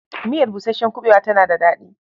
Miyar busasshen kuɓewa tana da daɗi.